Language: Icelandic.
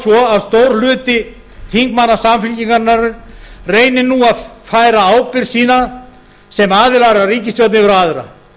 svo að stór hluti þingmanna samfylkingarinnar reyni nú að færa ábyrgð sína sem aðilar að ríkisstjórn yfir á aðra